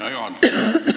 Hea juhataja!